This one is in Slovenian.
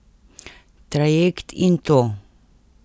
Trajekt in to.